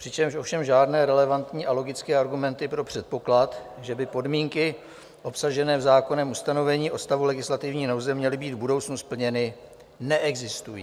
Přičemž ovšem žádné relevantní a logické argumenty pro předpoklad, že by podmínky obsažené v zákonném ustanovení o stavu legislativní nouze měly být v budoucnu splněny, neexistují.